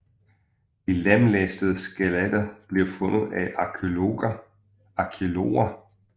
De lemlæstede skeletter blev fundet af arkæologer i juni 2009